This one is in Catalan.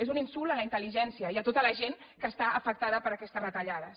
és un insult a la intel·ligència i a tota la gent que està afectada per aquestes retallades